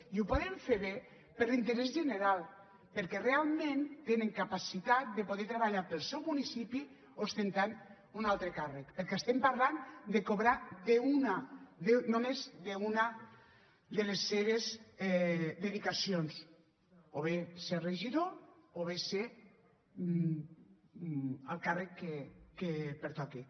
i ho poden fer bé per l’interès general perquè realment tenen capacitat de poder treballar pel seu municipi ostentant un altre càrrec perquè estem parlant de cobrar només d’una de les seves dedicacions o bé ser regidor o bé ser el càrrec que pertoqui